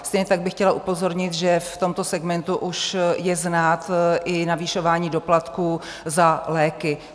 Stejně tak bych chtěla upozornit, že v tomto segmentu už je znát i navyšování doplatků za léky.